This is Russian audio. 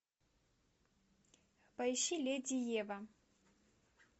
поищи леди ева